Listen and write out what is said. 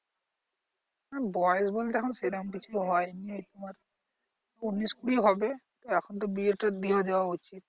হ্যা বয়স বলতে এখন সেরকম কিছু হয়নি তোমার উনিশ কুড়ি হবে এখন তো বিয়ে টা দিয়ে দেয়া উচিত